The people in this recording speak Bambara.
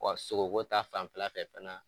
sogo ko ta fanfɛla fɛ fana